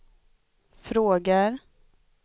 frågar